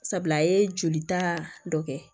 Sabula a ye jolita dɔ kɛ